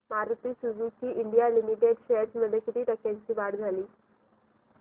Maruti Suzuki India limited shares मध्ये किती टक्क्यांची वाढ झाली